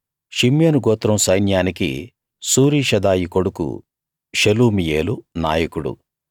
షిమ్యోను గోత్రం సైన్యానికి సూరీషదాయి కొడుకు షెలుమీయేలు నాయకుడు